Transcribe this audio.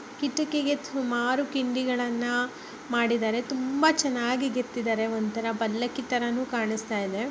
ಕಿಟಕಿಗೆ ಸುಮಾರು ಕಿಂಡಿಗಲ್ಲನ ಮಾಡಿದಾರೆ ತುಂಬಾ ಚೆನ್ನಾಗಿ ಕೇತಿದಾರೆ ಒಂಥರ ಪಲ್ಲಕಿ ತಾರಾನು ಕಾಣಿಸ್ತಾ ಇದೆ